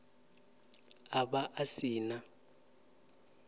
a vha a si na